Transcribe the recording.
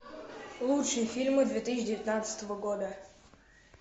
лучшие фильмы две тысячи девятнадцатого года